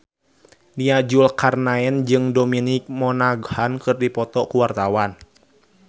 Nia Zulkarnaen jeung Dominic Monaghan keur dipoto ku wartawan